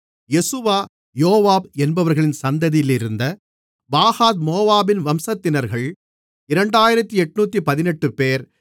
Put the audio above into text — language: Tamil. யெசுவா யோவாப் என்பவர்களின் சந்ததியிலிருந்த பாகாத் மோவாபின் வம்சத்தினர்கள் 2818 பேர்